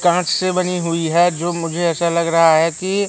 कांच से बनी हुई है जो मुझे ऐसा लग रहा है कि--